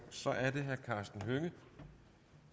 så er det herre karsten hønge